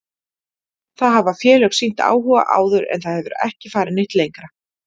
Það hafa félög sýnt áhuga áður en það hefur ekki farið neitt lengra.